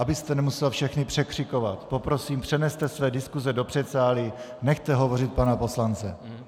Abyste nemusel všechny překřikovat, poprosím, přeneste své diskuse do předsálí, nechte hovořit pana poslance.